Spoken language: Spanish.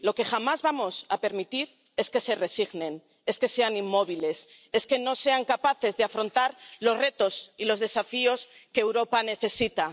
lo que jamás vamos a permitir es que se resignen, es que sean inmóviles, es que no sean capaces de afrontar los retos y los desafíos que Europa necesita.